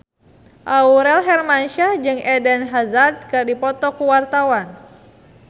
Aurel Hermansyah jeung Eden Hazard keur dipoto ku wartawan